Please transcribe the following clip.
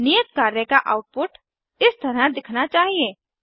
नियत कार्य का आउटपुट इस तरह दिखना चाहिए